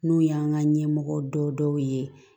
N'o y'an ka ɲɛmɔgɔ dɔ ye